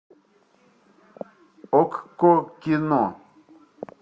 окко кино